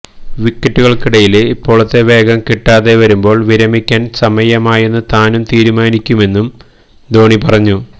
വിക്കറ്റുകള്ക്കിടയില് ഇപ്പോഴത്തെ വേഗം കിട്ടാതെവരുമ്പോള് വിരമിക്കാന് സമയമായെന്നു താന് തീരുമാനിക്കുമെന്നും ധോണി പറഞ്ഞു